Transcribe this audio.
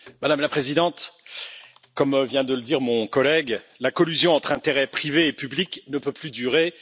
Madame la Présidente, comme vient de le dire mon collègue, la collusion entre intérêts privés et publics ne peut plus durer.